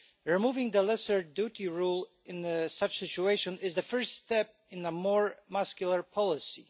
Removing the lesser duty rule in such a situation is the first step in a more muscular policy.